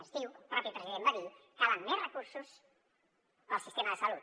ens diu el propi president va dir calen més recursos per al sistema de salut